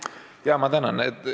Jaa, ma tänan!